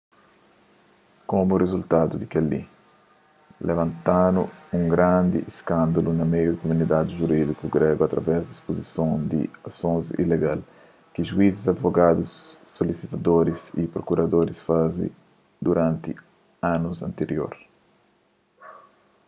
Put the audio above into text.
komu rizultadu di kel-li labantadu un grandi iskândalu na meiu di kumunidadi jurídiku grégu através di ispuzison di asons ilegal ki juizis adivogadus solisitadoris y prokuradoris faze duranti anus antirior